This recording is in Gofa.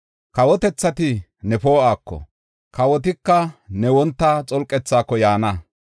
Kawotethati ne poo7uwako, kawotika ne wonta xolqethaako yaana.